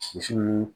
Sisi min